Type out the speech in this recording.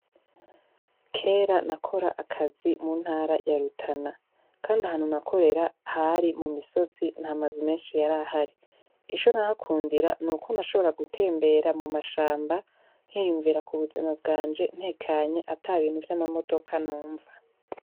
Kera nakora akazi mu ntara yarutana, kandi ahanu nakorera hari mu misozi ntamazu menshi yari ahari iso nahakundira ni uko nashobora gutembera mu mashamba ntiyumvira ku buzima bwanje ntekanye ata bintu vy'amamodoka numva.